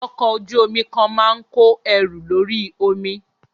Ọkọ̀ ojú omi kan máa ń kó ẹrù lórí omi.